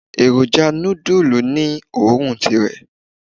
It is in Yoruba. Èròjà nudulu ní òórùn tirè.